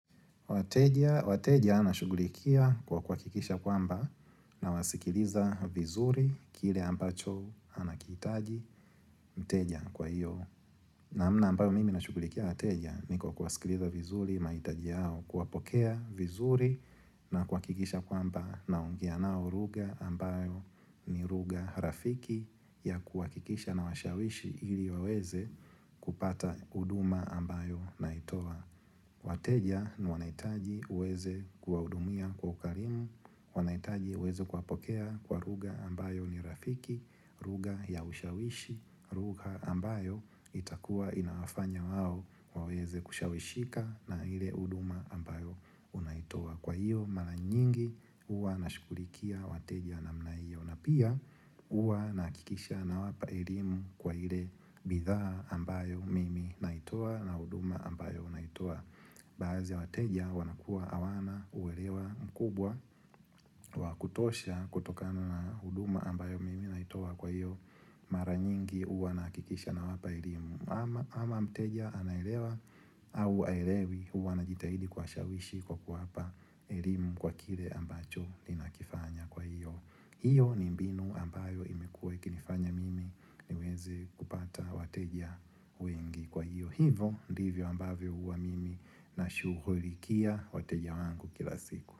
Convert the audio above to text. Wateja nashughulikia kwa kuhakikisha kwamba nawasikiliza vizuri kile ambacho anakihitaji mteja kwa hiyo. Namna ambayo mimi nashughulikia wateja ni kwa kuwasikiliza vizuri mahitaji yao, kuwapokea vizuri na kuhakikisha kwamba naongea nao lugha ambayo ni lugha rafiki ya kuhakikisha nawashawishi ili waweze kupata huduma ambayo naitoa. Wateja wanahitaji uweze kuwahudumia kwa ukarimu, wanahitaji uweze kuwapokea kwa lugha ambayo ni rafiki, lugha ya ushawishi, lugha ambayo itakua inawafanya wao waweze kushawishika na ile huduma ambayo unaitoa. Kwa hiyo mara nyingi huwa nashughulikia wateja wa namna hiyo. Na pia huwa nahakikisha nawapa elimu kwa ile bidhaa ambayo mimi naitoa na huduma ambayo naitoa. Baadhi ya wateja wanakuwa hawana uelewa mkubwa wa kutosha kutokana na huduma ambayo mimi naitoa kwa hiyo mara nyingi huwa nahakikisha nawapa elimu ama Ama mteja anaelewa au haelewi huwa najitahidi kuwashawishi kwa kuwapa elimu kwa kile ambacho ninakifanya kwa hiyo hiyo ni mbinu ambayo imekuwa ikinifanya mimi niweze kupata wateja wengi kwa hiyo. Hivyo ndivyo ambavyo huwa mimi nashughulikia wateja wangu kila siku.